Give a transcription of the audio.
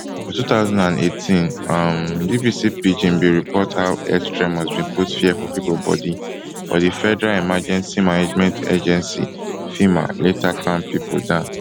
for two thousand and eighteen um bbc pidginbin reporthow earth tremors bin put fear for pipo body but di federal emergency management agency fema later calm pipo down